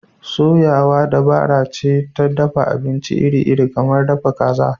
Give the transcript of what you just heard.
Soyawa dabara ce ta dafa abinci iri-iri kamar dafa kaza.